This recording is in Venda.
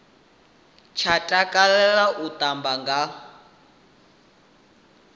tsha takalela u tamba a